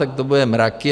Tak to budou mraky.